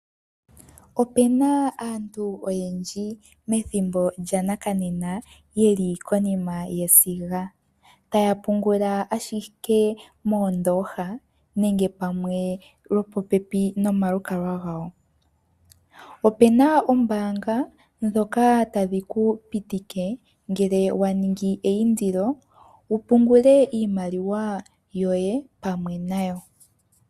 Opu na aantu oyendji methimbo lyongashingeyi ye li konima yesiga, taya pungula ashike moondooha nenge pamwe lwopopepi nomalukalwa gawo. Opu na oombaanga ndhoka tadhi ku pitika uuna wa ningi eindilo wu pungule iimaliwa yoye pamwe nayo.